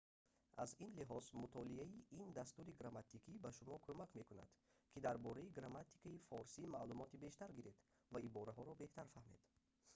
аз ин лиҳоз мутолиаи ин дастури грамматикӣ ба шумо кӯмак мекунад ки дар бораи грамматикаи форсӣ маълумоти бештар гиред ва ибораҳоро беҳтар фаҳмед